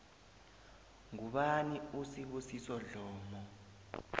ngubani usibusiso dlomo